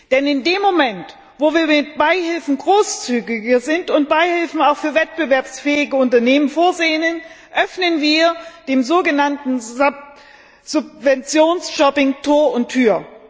Denn in dem Moment, wo wir mit Beihilfen großzügiger sind und Beihilfen auch für wettbewerbsfähige Unternehmen vorsehen, öffnen wir dem sogenannten Subventionsshopping Tür und Tor.